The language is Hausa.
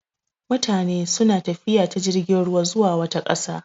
Mutane suna tafiya ta jirgin ruwa zuwa wata ƙasa.